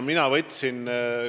Mina võtsin ka vastutuse.